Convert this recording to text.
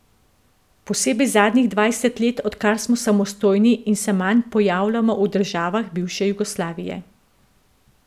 Posebej zadnjih dvajset let odkar smo samostojni in se manj pojavljamo v državah bivše Jugoslavije.